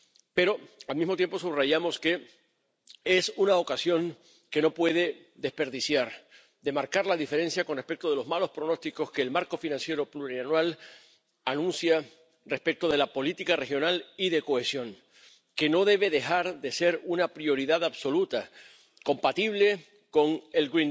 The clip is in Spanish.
Pero, al mismo tiempo, subrayamos que es una ocasión, que no puede desperdiciar, de marcar la diferencia con respecto de los malos pronósticos que el marco financiero plurianual anuncia respecto de la política regional y de cohesión, que no debe dejar de ser una prioridad absoluta, compatible con el